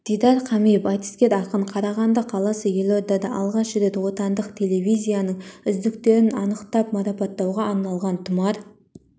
дидар қамиев айтыскер ақын қарағанды қаласы елордада алғаш рет отандық телевизияның үздіктерін анықтап марапаттауға арналған тұмар